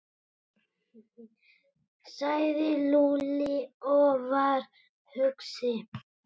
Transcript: sagði Lúlli og var hugsi.